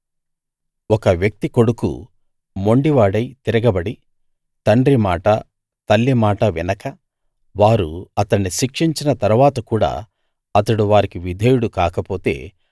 ఒక వ్యక్తి కొడుకు మొండివాడై తిరగబడి తండ్రి మాట తల్లి మాట వినక వారు అతణ్ణి శిక్షించిన తరువాత కూడా అతడు వారికి విధేయుడు కాకపోతే